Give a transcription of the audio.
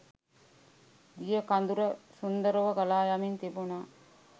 දිය කදුර සුන්දරව ගලායමින් තිබුණා